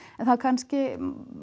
en það kannski